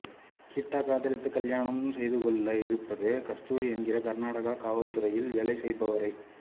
கிட்டா காதலித்துக் கல்யாணம் செய்துகொள்ள இருப்பது கஸ்தூரி என்கிற கர்நாடக காவல்துறையில் வேலை செய்பவரை